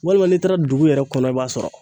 Walima n'i taara dugu yɛrɛ kɔnɔ i b'a sɔrɔ.